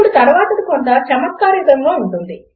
ఇప్పుడు తర్వాతది కొంత చమత్కారయుతముగా ఉంటుంది